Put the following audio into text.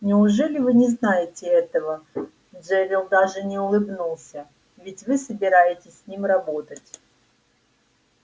неужели вы не знаете этого джерилл даже не улыбнулся ведь вы собираетесь с ним работать